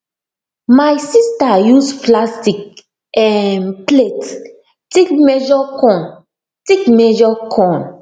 my sister use plastic um plate take measure corn take measure corn